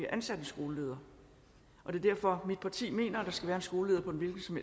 ansat en skoleleder og derfor at mit parti mener at der skal være en skoleleder på en hvilken som